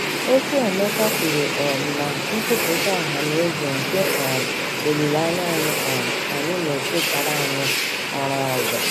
Okwu Emeka kwuru um na " nkwuputa ohaneze nke um olileanya um anyị " na-echetara anyị ọrụ ọzọ.